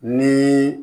Ni